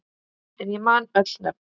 En ég man öll nöfn.